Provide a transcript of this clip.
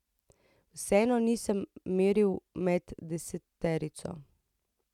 Vseeno nisem meril med deseterico.